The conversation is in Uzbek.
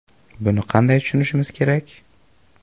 Buni qanday tushunishimiz kerak?